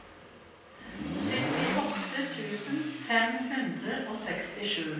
syttiåtte tusen fem hundre og sekstisju